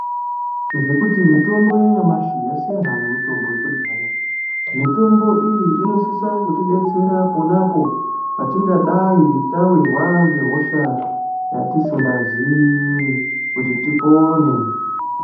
Ngekuti mitombo ya nyamashi yasiyana ne mutombo yekudhaya mitombo iyi inosisa kuti detsera ponapo patinga dai tawirwa nge hosha dzatisinga zii kuti tipone.